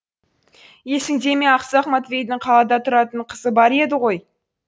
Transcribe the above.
есіңде ме ақсақ матвейдің қалада тұратын қызы бар еді ғой